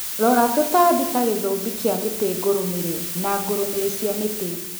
Rora tũtambi ta gĩthũmbi kia mĩti ngũrũmĩri na ngũrũmĩri cia mĩti